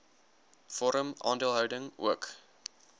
vorm aandeelhouding ook